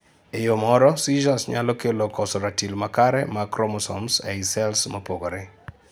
Ee yoo moro, seizures nyalo kelo koso ratil makare mag chromosomes ei cells mopogore